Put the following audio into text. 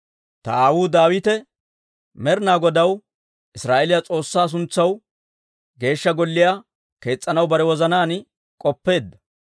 «Ta aawuu Daawite Med'inaa Godaw Israa'eeliyaa S'oossaa suntsaw Geeshsha Golliyaa kees's'anaw bare wozanaan k'oppeedda.